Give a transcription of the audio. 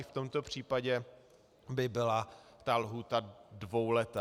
I v tomto případě by byla ta lhůta dvouletá.